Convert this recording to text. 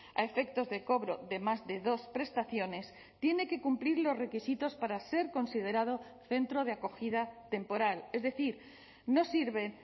a efectos de cobro de más de dos prestaciones tiene que cumplir los requisitos para ser considerado centro de acogida temporal es decir no sirve